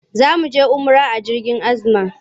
Za mu je umra a jirgin Azman.